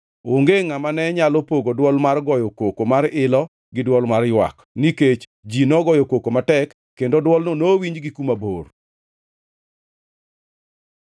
Onge ngʼama ne nyalo pogo dwol mar goyo koko mar ilo gi dwol mar ywak, nikech ji nogoyo koko matek, kendo dwolno nowinj gi kuma bor.